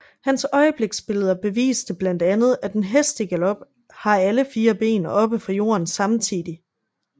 Hans øjebliksbilleder beviste blandt andet at en hest i galop har alle fire ben oppe fra jorden samtidig